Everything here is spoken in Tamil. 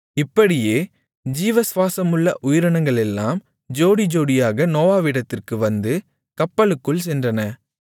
இப்படியே ஜீவசுவாசமுள்ள உயிரினங்களெல்லாம் ஜோடிஜோடியாக நோவாவிடத்திற்கு வந்து கப்பலுக்குள் சென்றன